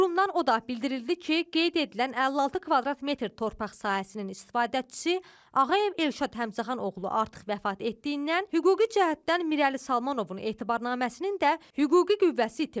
Qurumdan o da bildirildi ki, qeyd edilən 56 kvadrat metr torpaq sahəsinin istifadəçisi Ağayev Elşad Həmzəxan oğlu artıq vəfat etdiyindən hüquqi cəhətdən Mirəli Salmanovun etibarnaməsinin də hüquqi qüvvəsi itirib.